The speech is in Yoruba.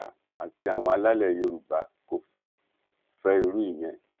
ásà àti àwọn alálẹ yorùbá kò fẹ fẹ irú ìyẹn